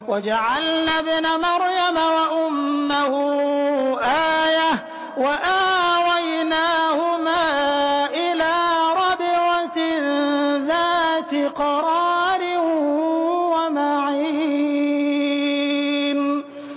وَجَعَلْنَا ابْنَ مَرْيَمَ وَأُمَّهُ آيَةً وَآوَيْنَاهُمَا إِلَىٰ رَبْوَةٍ ذَاتِ قَرَارٍ وَمَعِينٍ